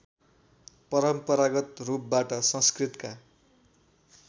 परम्परागत रूपबाट संस्कृतका